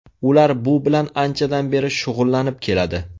Ular bu bilan anchadan beri shug‘ullanib keladi.